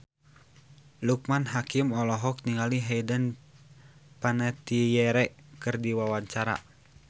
Loekman Hakim olohok ningali Hayden Panettiere keur diwawancara